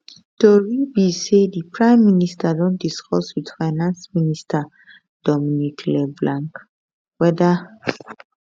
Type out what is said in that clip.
tori be say di prime minister don discuss wit finance minister dominic leblanc weda